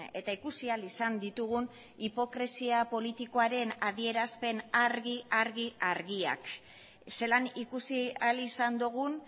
eta ikusi ahal izan ditugun hipokresia politikoaren adierazpen argi argi argiak zelan ikusi ahal izan dugun